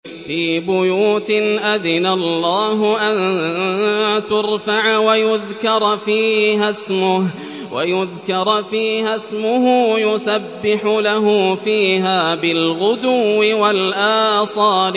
فِي بُيُوتٍ أَذِنَ اللَّهُ أَن تُرْفَعَ وَيُذْكَرَ فِيهَا اسْمُهُ يُسَبِّحُ لَهُ فِيهَا بِالْغُدُوِّ وَالْآصَالِ